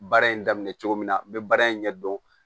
Baara in daminɛ cogo min na n bɛ baara in ɲɛ dɔn